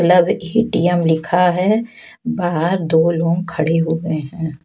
ATM लिखा है बाहर दो लोग खड़े हुवे हैं।